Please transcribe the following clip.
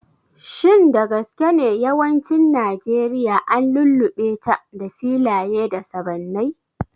Shin da gaske ne yawancin Najeriya an lullube ta da filaye da sabannai?